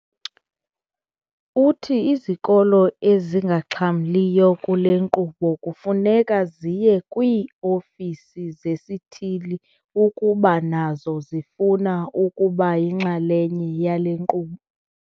Uthi izikolo ezingaxhamliyo kule nkqubo kufuneka ziye kwii-ofisi zesithili ukuba nazo zifuna ukuba yinxalenye yale nkqubo.